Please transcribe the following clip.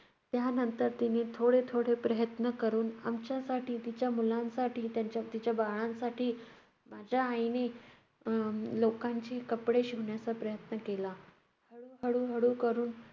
त्यानंतर तिने थोडे थोडे प्रयत्न करून आमच्यासाठी, तिच्या मुलांसाठी, त्याच्या~ तिच्या बाळांसाठी माझ्या आईने अह लोकांची कपडे शिवण्याचा प्रयत्न केला. हळू~ हळूहळू करून